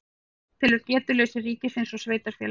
Átelur getuleysi ríkis og sveitarfélaga